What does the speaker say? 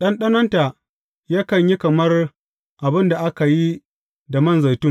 Ɗanɗanonta yakan yi kamar abin da aka yi da man zaitun.